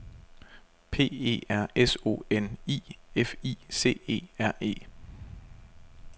P E R S O N I F I C E R E